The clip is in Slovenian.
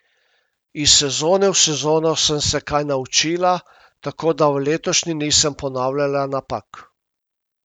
Iz sezone v sezono sem se kaj naučila, tako da v letošnji nisem ponavljala napak.